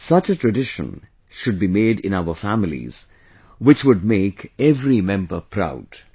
Such a tradition should be made in our families, which would make every member proud